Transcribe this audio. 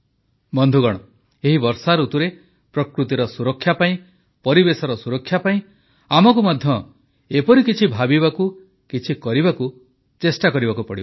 ବନ୍ଧୁଗଣ ଏହି ବର୍ଷାଋତୁରେ ପ୍ରକୃତିର ସୁରକ୍ଷା ପାଇଁ ପରିବେଶର ସୁରକ୍ଷା ପାଇଁ ଆମକୁ ମଧ୍ୟ ଏପରି କିଛି ଭାବିବାକୁ କିଛି କରିବାକୁ ଚେଷ୍ଟା କରିବାକୁ ପଡ଼ିବ